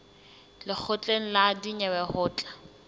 lekgotleng la dinyewe ho tla